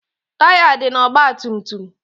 Taya dị na ọgba tum tum.